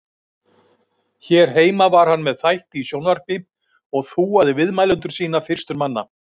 Hér heima var hann með þætti í sjónvarpi og þúaði viðmælendur sína fyrstur manna.